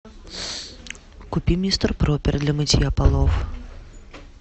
купи мистер пропер для мытья полов